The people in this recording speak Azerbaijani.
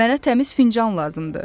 Mənə təmiz fincan lazımdır.